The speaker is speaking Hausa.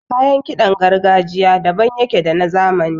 Kayan kiɗan gargajiya daban yake da na zamani.